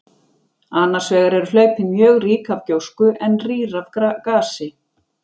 Annars vegar eru hlaupin mjög rík af gjósku en rýr af gasi.